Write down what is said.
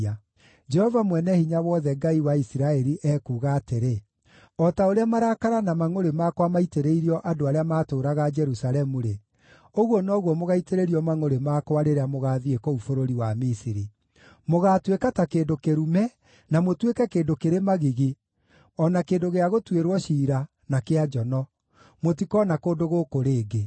Jehova Mwene-Hinya-Wothe, Ngai wa Isiraeli ekuuga atĩrĩ: ‘O ta ũrĩa marakara na mangʼũrĩ makwa maitĩrĩirio andũ arĩa maatũũraga Jerusalemu-rĩ, ũguo noguo mũgaitĩrĩrio mangʼũrĩ makwa rĩrĩa mũgaathiĩ kũu bũrũri wa Misiri. Mũgaatuĩka ta kĩndũ kĩrume, na mũtuĩke kĩndũ kĩrĩ magigi, o na kĩndũ gĩa gũtuĩrwo ciira, na kĩa njono; mũtikoona kũndũ gũkũ rĩngĩ.’